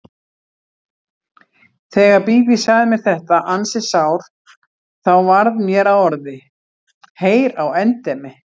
Þegar Bíbí sagði mér þetta ansi sár þá varð mér að orði: Heyr á endemi!